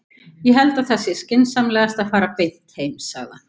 Ég held að það sé skynsamlegast að fara beint heim, sagði hann.